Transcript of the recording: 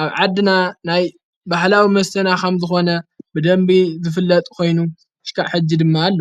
ኣብ ዓድና ናይ ባህላዊ መስተና ኸም ዝኾነ ብደንቢ ዝፍለጥ ኾይኑ፣ ዝስካዕ ሕጂ ድማ ኣሎ፡፡